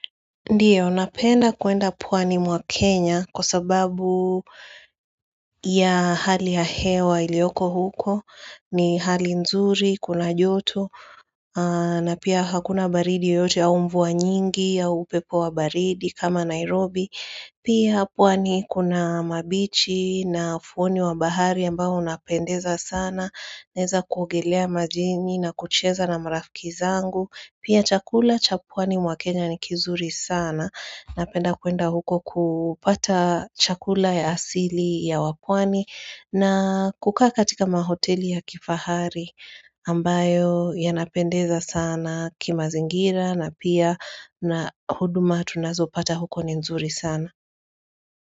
Ndio, napenda kwenda pwani mwa Kenya kwa sababu ya hali ya hewa iliyoko huko. Ni hali nzuri, kuna joto, na pia hakuna baridi yoyote au mvua nyingi au upepo wa baridi kama Nairobi. Pia pwani kuna mabichi na ufuoni wa bahari ambao unapendeza sana. Naweza kuogelea majini na kucheza na marafiki zangu. Pia chakula cha pwani mwa Kenya ni kizuri sana. Napenda kwenda huko kupata chakula ya asili ya wapwani na kukaa katika mahoteli ya kifahari ambayo yanapendeza sana kima zingira na pia na huduma tunazo pata huko ni nzuri sana.